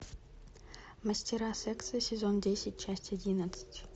мастера секса сезон десять часть одиннадцать